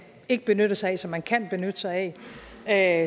ikke benyttede sig af som man kan benytte sig af